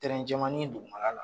jɛmannin dugumana la